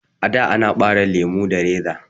A'da ana ɓare lemo da reza